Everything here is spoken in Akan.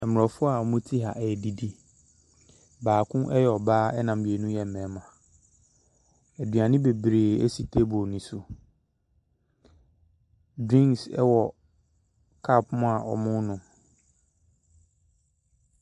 Aborɔfo a wɔte ha redidi. Baako yɛ ɔbaa na mmienu yɛ mmarima. Aduane bebree si table no so. Drinks wɔ cup mu a wɔrenom.